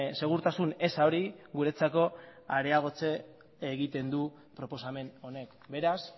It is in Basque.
segurtasun eza hori guretzako areagotu egiten du proposamen honek beraz